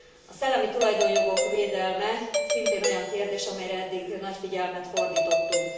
A szellemi tulajdonjogok védelme szintén olyan kérdés, amelyre eddig nagy figyelmet fordítottunk.